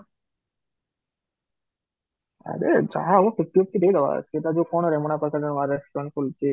ଆରେ ଯାହା ହବ ଟିକେ ଟିକେ ଦେବାର ଅଛି, ସେଟା କୋଉ କଣ ରେମଣା ପାଖରେ ନୂଆ restaurant ଖୋଲିଛି